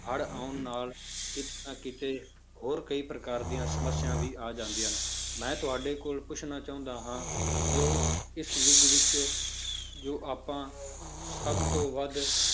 ਹੜ੍ਹ ਆਉਣ ਨਾਲ ਕਿਤੇ ਨਾ ਕਿਤੇ ਹੋਰ ਕਈ ਪ੍ਰਕਾਰ ਦੀਆਂ ਸਮੱਸਿਆ ਵੀ ਆ ਜਾਂਦੀਆਂਂ ਨੇ, ਮੈਂ ਤੁਹਾਡੇ ਕੋਲ ਪੁੱਛਣਾ ਚਾਹੁੰਦਾ ਹਾਂ ਜੋ ਇਸ ਯੁੱਗ ਵਿੱਚ ਜੋ ਆਪਾਂ ਸਭ ਤੋਂ ਵੱਧ